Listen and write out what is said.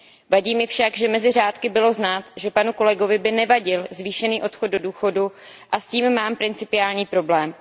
Vadí mi však, že mezi řádky bylo znát, že panu kolegovi by nevadil zvýšený odchod do důchodu, a s tím mám principiální problém.